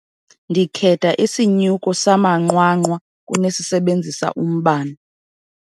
Ndikhetha isinyuko samanqwanqwa kunesisebenzisa umbane.